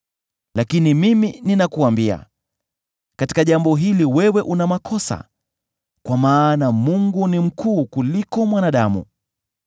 “Lakini mimi ninakuambia, katika jambo hili wewe una makosa, kwa maana Mungu ni mkuu kuliko mwanadamu.